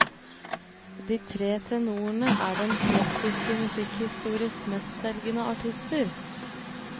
De tre tenorene er den klassiske musikkhistoriens mestselgende artister.